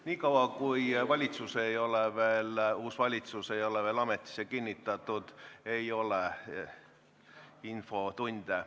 Niikaua kui uus valitsus ei ole veel ametisse kinnitatud, ei ole infotunde.